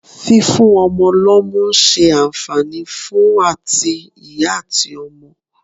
Fífún ọmọ lọ́mú ń ṣe àǹfààní fún àti ìyá àti ọmọ.